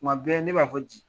kuma bɛɛ ne b'a fɔ ji